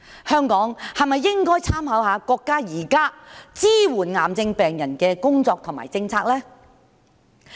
香港是否應該參考國家現時支援癌症病人的工作及政策呢？